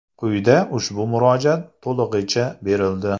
Quyida ushbu murojaat to‘lig‘icha berildi.